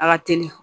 A ka teli